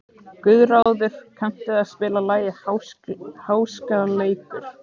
Guðráður, kanntu að spila lagið „Háskaleikur“?